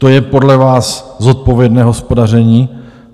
To je podle vás zodpovědné hospodaření?